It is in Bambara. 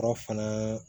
Yɔrɔ fana